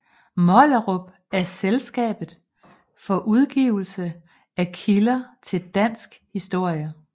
Mollerup af Selskabet for Udgivelse af Kilder til dansk Historie